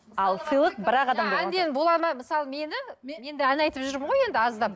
мысалы мені менде ән айтып жүрмін ғой енді аздап